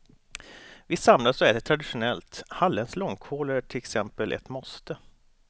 Vi samlas och äter traditionellt, halländsk långkål är till exempel ett måste.